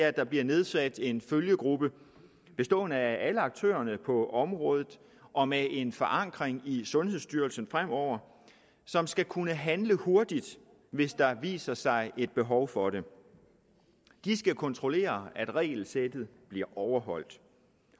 at der bliver nedsat en følgegruppe bestående af alle aktørerne på området og med en forankring i sundhedsstyrelsen fremover som skal kunne handle hurtigt hvis der viser sig et behov for det de skal kontrollere at regelsættet bliver overholdt